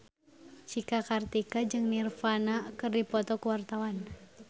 Cika Kartika jeung Nirvana keur dipoto ku wartawan